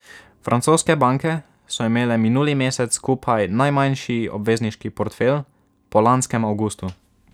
Francoske banke so imele minuli mesec skupaj najmanjši obvezniški portfelj po lanskem avgustu.